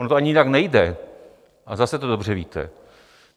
Ono to ani jinak nejde, a zase to dobře víte.